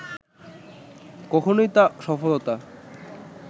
কখনওই তা সফলতা